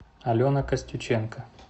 алена костюченко